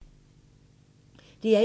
DR1